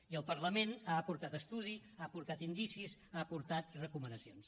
i el parlament ha aportat estudi ha aportat indicis ha aportat recomanacions